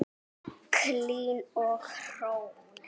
Hlín og Hrönn.